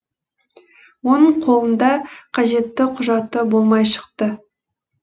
оның қолында қажетті құжаты болмай шықты